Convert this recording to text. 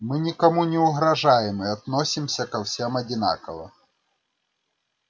мы никому не угрожаем и относимся ко всем одинаково